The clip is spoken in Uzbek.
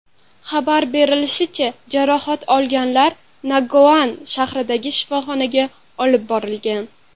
Xabar berilishicha, jarohat olganlar Nagaon shahridagi shifoxonaga olib borilgan.